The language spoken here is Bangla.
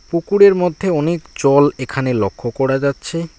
পুকুরের মধ্যে অনেক জল এখানে লক্ষ করা যাচ্ছে।